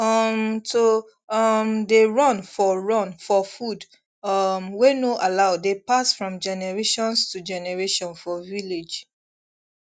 um to um dey run for run for food um wey no allow dey pass from generations to generation for village